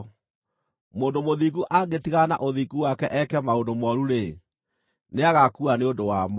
Mũndũ mũthingu angĩtigana na ũthingu wake eeke maũndũ mooru-rĩ, nĩagaakua nĩ ũndũ wamo.